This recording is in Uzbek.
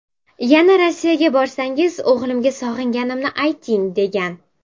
Yana Rossiyaga borsangiz, o‘g‘limga sog‘inganimni ayting”, degan.